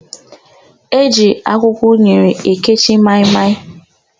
E ji akwụkwọ unere ekechi maị-maị.